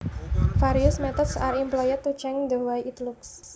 Various methods are employed to change the way it looks